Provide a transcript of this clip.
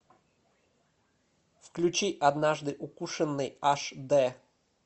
включи однажды укушенный аш дэ